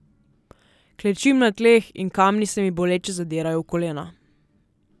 Klečim na tleh in kamni se mi boleče zadirajo v kolena.